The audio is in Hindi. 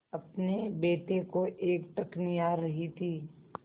अपने बेटे को एकटक निहार रही थी